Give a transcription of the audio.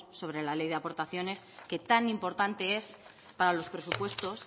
sobre la ley de aportaciones que tan importante es para los presupuestos